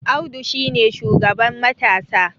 Audu shi ne shugaban matasa